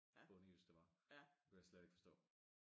Bondejysk det var kunne jeg slet ikke forstå